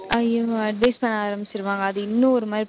ஐயோ advice பண்ண ஆரம்பிச்சிருவாங்க. அது இன்னும் ஒரு மாதிரி